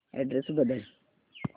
address बदल